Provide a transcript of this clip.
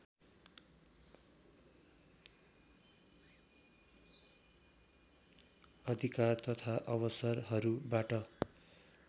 अधिकार तथा अवसरहरूबाट